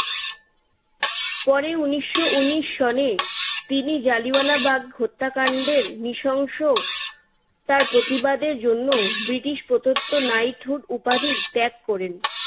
পরে উনিশশো উনিশ সনে তিনি জালিয়ানওয়ালাবাগ হত্যাকাণ্ডের নৃশংসতার প্রতিবাদের জন্য ব্রিটিশ প্রদত্ত নাইটহুড উপাধি ত্যাগ করেন।